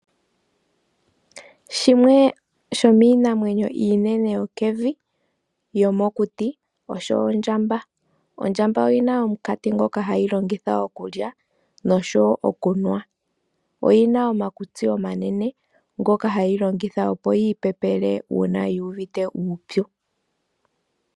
Shimwe shominamwenyo inene yokevi yomokuti osho Ondjamba, Ondjamba oyina omukati ngoka hayilongitha okulya nosho okunwa, oyina omakutsi omanene ngoka hayilongitha opo yipepele una yuvite uupyu.